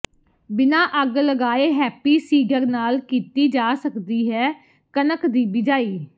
ਬਿਨਾ ਅੱਗ ਲਗਾਏ ਹੈਪੀ ਸੀਡਰ ਨਾਲ ਕੀਤੀ ਜਾ ਸਕਦੀ ਹੈ ਕਣਕ ਦੀ ਬਿਜਾਈ